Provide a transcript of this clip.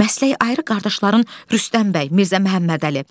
Məsələ ayrı qardaşların Rüstəm bəy, Mirzə Məhəmmədəli,